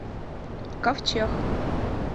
ковчег